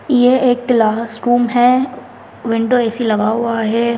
ये एक classroom है विंडो ए_सी लगा हुआ है।